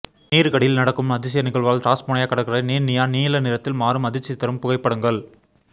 நீருக்கடியில் நடக்கும் அதிசய நிகழ்வால் டாஸ்மேனியா கடற்கரை நீர் நியான் நீல நிறத்தில் மாறும் அதிர்ச்சிதரும் புகைப்படங்கள்